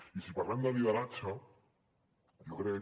i si parlem de lideratge jo crec